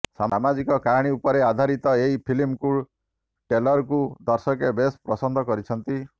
ସାମାଜିକ କାହାଣୀ ଉପରେ ଆଧାରିତ ଏହି ଫିଲ୍ମକୁ ଟ୍ରେଲର୍କୁ ଦର୍ଶକେ ବେଶ୍ ପସନ୍ଦ କରିଛନ୍ତି